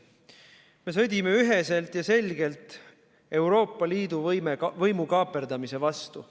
Me sõdime üheselt ja selgelt Euroopa Liidu võimukaaperdamise vastu.